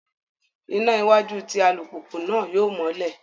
Iná iwájú tí alupupu náà yóò mọlẹ